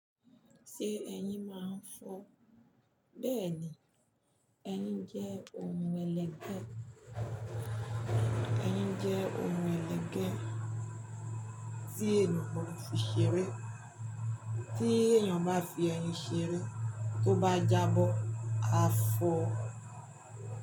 Ṣé ẹyin máa ń fọ? Bẹ́ẹ̀ ni, ẹyin jẹ́ ohun ẹlẹgẹ́. Ẹyin jẹ́ ohun ẹlẹgẹ́ tí ènìyàn fi ṣeré. Tí èèyàn bá fi ẹyin ṣeré, tó bá jábọ́, a fọ̀ ọ́.